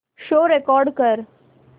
show record कर